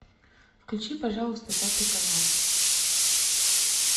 включи пожалуйста пятый канал